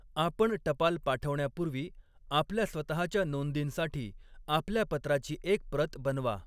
आपण टपाल पाठवण्यापूर्वी आपल्या स्वतःच्या नोंदींसाठी आपल्या पत्राची एक प्रत बनवा.